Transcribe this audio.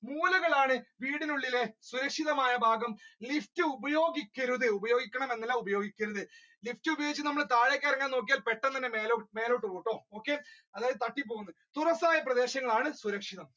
മൂലകളാണ് വീടിനുള്ളിലെ സുരക്ഷിതമായ ഭാഗം lift ഉപയോഗിക്കരുത്, ഉപയോഗിക്കണം എന്നല്ല lift ഉപയോഗിച്ച് നമ്മൾ താഴേക്ക് ഇറങ്ങാൻ നോക്കിയാൽ പെട്ടെന്ന് തന്നെ മേലോ~മേലോട്ട് പോകും ട്ടോ okay അതായത് തട്ടിപ്പോവും ന്ന് തുറസ്സായ പ്രദേശങ്ങളാണ് സുരക്ഷിതം